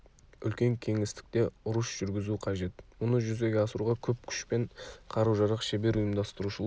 үлкен кеңістікте ұрыс жүргізу қажет мұны жүзеге асыруға көп күш пен қару-жарақ шебер ұйымдастырушылық